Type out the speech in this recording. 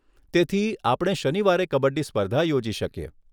તેથી, આપણે શનિવારે કબડ્ડી સ્પર્ધા યોજી શકીએ.